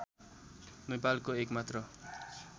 नेपालको एक मात्र